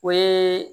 O ye